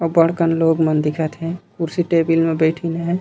अब्बड़ कन लोग मन दिखत हे कुर्सी टेबिल म बैठिन हे।